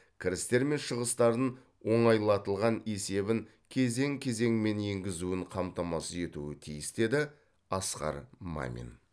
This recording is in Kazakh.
кірістер мен шығыстарын оңайлатылған есебін кезең кезеңімен енгізуін қамтамасыз етуі тиіс деді асқар мамин